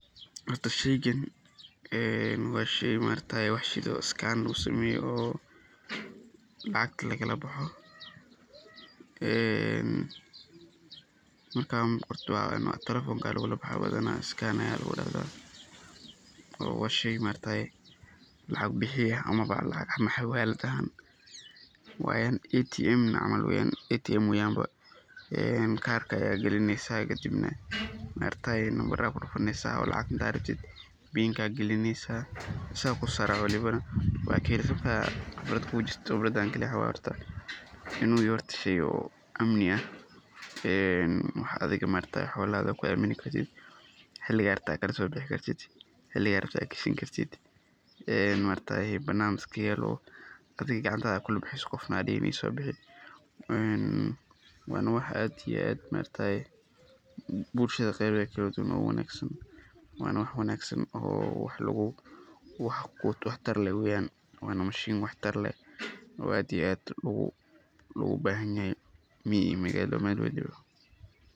Horta shayqan wa shay marakataye wax shidan oo scan lagusameyo lacaglagalabaxo marka qorto telephonka aya lagolabaxa hadan scan aya lagu yaradha wa shay maarkataye lacag baxiya ama xawalad ahaan wana ATM waye ba een kar aya galineysa kadibna markatye namabara aya kudufunaysa lacag hada rabtit pinka aya galinaysa isaga kusosaribna waa kaheli kartaa khibrad kujirto khibradan kali wa horta inu yahay horta shay amni aah wax adiga marakte xoolaha ku amini kartit xiliga rabto kalasobixi kartit xiliga rabtit ad gashani kartit ee banan iska yalo oo adiga gacanta kulabaxaysid qofna andahenin iso bixi waan wa wax ad iyo ad marakatye bulshada qebehed kaladuwan uga wanagsan wana wa wax wangsan oo wax tar leeh weyan nolasha u wax tar leeh oo aad iyo aad loga bahanayany mi iyo magalo jooq.